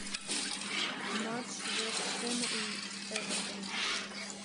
матч вест хэма и эвертона